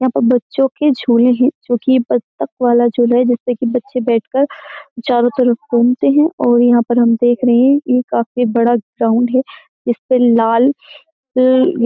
यहाँ पर बच्चों के झूले हैं जो कि बत्तक वाला झूला है जिससे कि बच्चे बैठकर चारों तरफ घूमते हैं और यहाँ पर हम देख रहे हैं ये काफी बड़ा ग्राउंड है इस पर लाल --